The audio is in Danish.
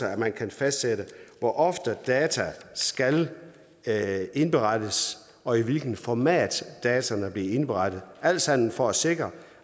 at man kan fastsætte hvor ofte data skal skal indberettes og i hvilket format dataene bliver indberettet alt sammen for at sikre